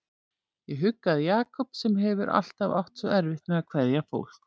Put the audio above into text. Ég huggaði Jakob sem hefur alltaf átt svo erfitt með að kveðja fólk.